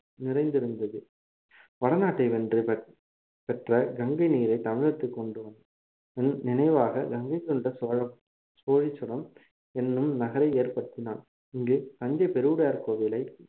நிறைந்திருந்தது வடநாட்டை வென்று பெற்~ பெற்ற கங்கை நீரை தமிழகத்திற்கு கொண்டு வந்~ நினைவாக கங்கை கொண்ட சோழ சோழிச்சுரம் எண்ணும் நகரை ஏற்படுத்தினான் இங்கு தஞ்சை பெருவுடையார் கோவிலை